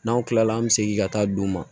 N'an tilala an bɛ segin ka taa d'u ma